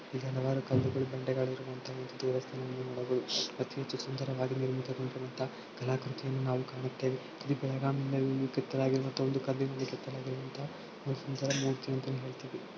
ಇಲ್ಲಿ ಹಲವಾರು ಕಲ್ಲುಗಳು ಬಂಡೆಗಳು ಇರುವಂತಹ ಒಂದು ದೇವಸ್ಥಾನ ನೋಡಬಹುದು ಅತಿ ಹೆಚ್ಚು ಸುಂದರವಾಗಿ ನಿರ್ಮಿತ ಗೊಂಡಿರುವಂತಹ ಕಲಾಕೃತಿಯನ್ನು ನಾವು ಕಾಣುತ್ತೇವೆ ಇದು ಬೆಳಗಾವಿಂದ ಕೆತ್ತಲ್ ಆಗಿರುವಂತ ಒಂದು ಕಲ್ಲಿನಿಂದ ಕೆತ್ತಲಾಗಿರುವ ಅಂತ ಒಂದು ಸುಂದರ ಮೂರ್ತಿ ಅಂತಾನೆ ಹೇಳ್ತಿವಿ.